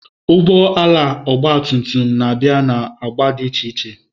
Ụgbọ ala ọgba tum tum na-abịa na agba dị iche iche.